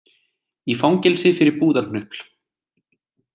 Í fangelsi fyrir búðarhnupl